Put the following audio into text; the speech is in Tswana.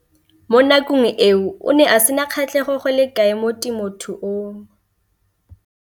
Mo nakong eo o ne a sena kgatlhego go le kalo mo temothuong.